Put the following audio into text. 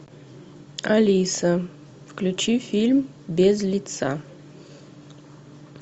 алиса включи фильм без лица